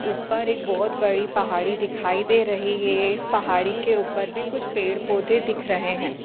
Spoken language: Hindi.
ऊपर एक बहोत बड़ी पहाड़ी दिखाई दे रही है इस पहाड़ी के ऊपर भी कुछ पेड़-पौधे दिख रहे हैं।